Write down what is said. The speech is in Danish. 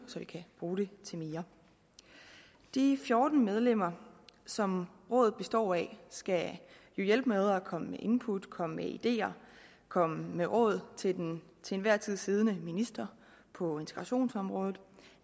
så vi kan bruge det til mere de fjorten medlemmer som rådet består af skal jo hjælpe med at komme med input komme med ideer komme med råd til den til enhver tid siddende minister på integrationsområdet